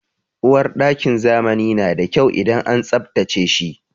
Uwarɗakin zamani na da kyau idan an tsabtace shi.